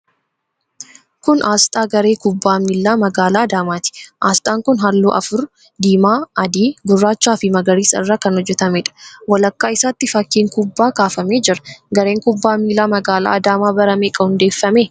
Kun aasxaa Garee Kubbaa Miilaa Magaalaa Adaamaati. Aasxaan kun halluu afur: diimaa, adii, gurraachaafi magariisa irraa kan hojjetameedha. Walakkaa isaatti fakkiin kubbaa kaafamee jira. Gareen Kubbaa Miilaa Magaalaa Adaamaa bara meeqa hundeeffame?